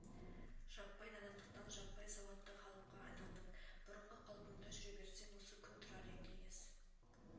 жаппай надандықтан жаппай сауатты халыққа айналдың бұрынғы қалпыңда жүре берсең осы күн тұрар ең кеңес